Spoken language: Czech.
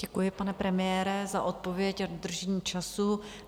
Děkuji, pane premiére, za odpověď a dodržení času.